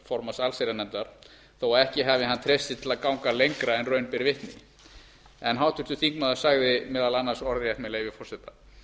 formanns allsherjarnefndar þó ekki hafi hann treyst sér til að ganga lengra en raun ber vitni en háttvirtur þingmaður sagði meðal annars orðrétt með leyfi forseta